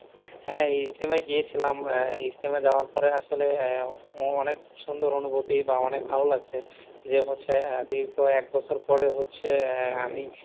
হ্যাঁ ইজতেমায় গিয়েছিলাম। আহ ইজতেমায় যাওয়ার পরে আসলে আহ অনেক সুন্দর অনুভূতি বা অনেক ভালো লাগছে। যে হচ্ছে দীর্ঘ এক বছর পরে আহ আমি,